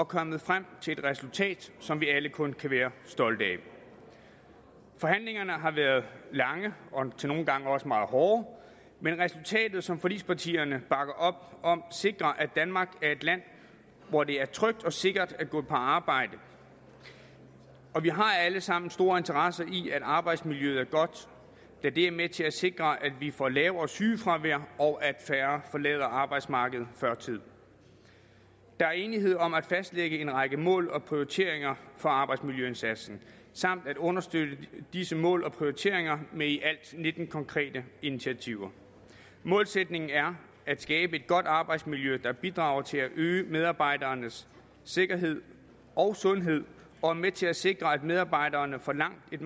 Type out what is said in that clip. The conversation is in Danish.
kommet frem til et resultat som vi alle kun kan være stolte af forhandlingerne har været lange og nogle gange også meget hårde men resultatet som forligspartierne bakker op om sikrer at danmark er et land hvor det er trygt og sikkert at gå på arbejde og vi har alle sammen stor interesse i at arbejdsmiljøet er godt da det er med til at sikre at vi får lavere sygefravær og at færre forlader arbejdsmarkedet før tid der er enighed om at fastlægge en række mål og prioriteringer for arbejdsmiljøindsatsen samt at understøtte disse mål og prioriteringer med i alt nitten konkrete initiativer målsætningen er at skabe et godt arbejdsmiljø der bidrager til at øge medarbejdernes sikkerhed og sundhed og er med til at sikre at medarbejderne får et langt